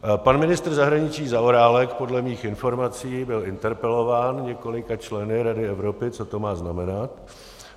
Pan ministr zahraničí Zaorálek podle mých informací byl interpelován několika členy Rady Evropy, co to má znamenat.